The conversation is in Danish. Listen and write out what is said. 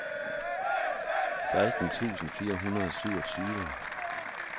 seksten tusind fire hundrede og syvogtyve